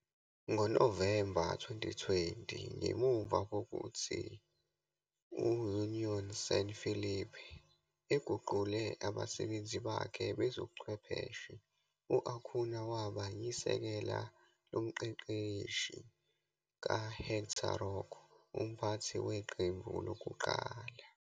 NgoNovemba 2020, ngemuva kokuthi u-Unión San Felipe eguqule abasebenzi bakhe bezobuchwepheshe, u-Acuña waba yisekela lomqeqeshi kaHéctor Roco, umphathi weqembu lokuqala.